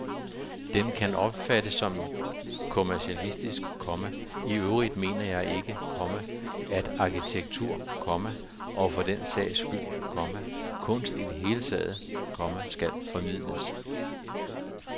Den kan opfattes som kommercialistisk, komma og iøvrigt mener jeg ikke, komma at arkitektur, komma og for den sags skyld, komma kunst i det hele taget, komma skal formidles. punktum